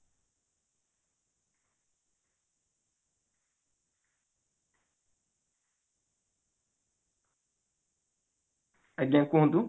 ଆଜ୍ଞା କୁହନ୍ତୁ